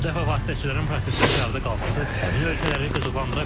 Bu dəfə vasitəçilərin prosesdən kənarda qalması həmin ölkələri qıcıqlandıra bilər.